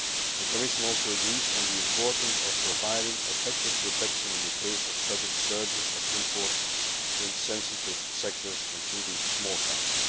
The Commission also agrees on the importance of providing effective protection in the case of sudden surges of imports in sensitive sectors, including small cars.